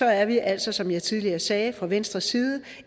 er vi altså som jeg tidligere sagde fra venstres side